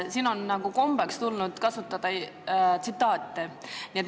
Siia on tulnud komme tsitaate kasutada.